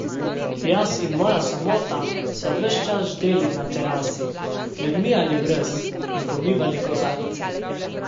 Jaz in moja samota sva ves čas ždeli na terasi, z ljudmi ali brez, in pomivali kozarce.